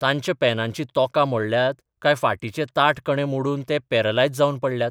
तांच्या पेनांचीं तोकां मोडल्यांत, काय फाटीचे ताठ कणे मोडून ते पॅरलायज जाबन पडल्यात?